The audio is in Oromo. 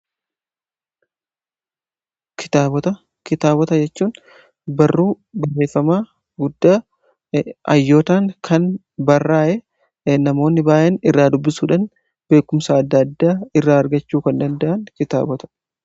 Kitaabota jechuun barruu barreeffamaa guddaa hayyootaan kan barraa'e namoonni baay'een irraa dubbisuudhaan beekumsa adda addaa irraa argachuu kan danda'an kitaabota